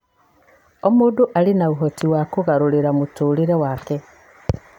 O mũndũ arĩ na ũhoti wa kũgarũrĩra mũtũũrĩre wake.